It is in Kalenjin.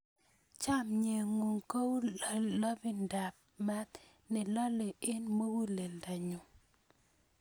Chomye ng'ung' kou lalong'idap maat ne lolei eng' muguleldanyu.